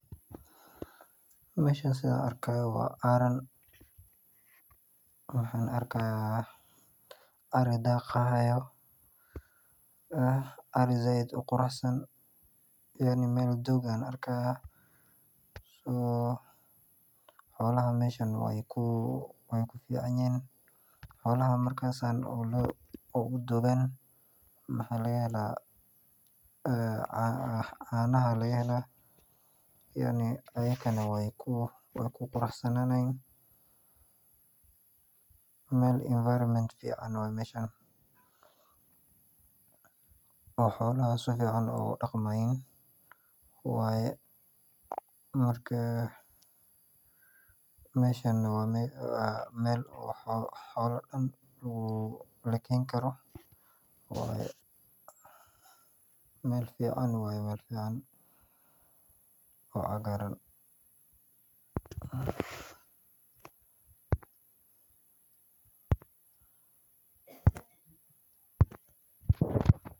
Meeshan sidaan arkaayo waa aaran waxaan arki haaya ari daaqi haayo oo sait uqurux an xolaha waay fican yihiin waxaa laga helaa canaha ayagana waay quruxsananayin meel fican waye oo xoolaha jecel yihiin waa xoola lakeeni karaa meel fican oo cagaaran waye.